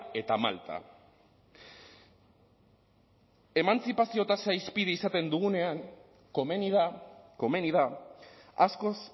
eta malta emantzipazio tasa hizpide izaten dugunean komeni da komeni da askoz